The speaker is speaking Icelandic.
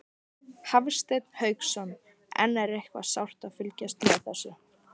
Hafsteinn Hauksson: En er eitthvað sárt að fylgjast með þessu?